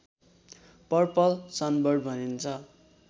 purple sunbird भनिन्छ